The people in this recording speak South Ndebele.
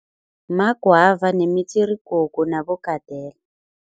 Ma-guava nemitsirigogo nabogadela.